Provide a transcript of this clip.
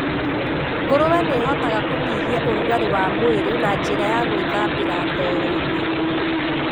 Ngũrũe nĩ ihotaga kũnyihia ũrugarĩ wa mwĩrĩ na njĩra ya gũĩthambĩra ndoro-inĩ.